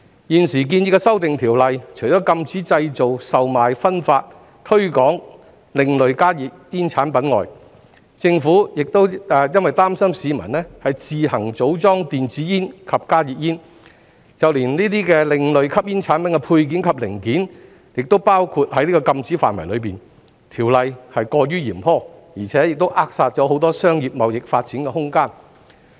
現時建議的修訂，除禁止製造、售賣、分發、推廣另類加熱煙產品外，政府因擔心市民自行組裝電子煙及加熱煙，就連該等另類吸煙產品的配件及零件，亦包括在禁止範圍內，條例是過於嚴苛，並扼殺很多商業貿易發展的空間。